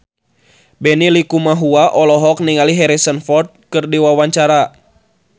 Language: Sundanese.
Benny Likumahua olohok ningali Harrison Ford keur diwawancara